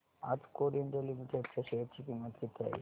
आज Coal India Limited च्या share ची किंमत किती आहे